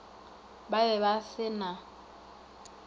ba be ba se na